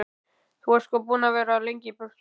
Þú ert sko búinn að vera of lengi í burtu.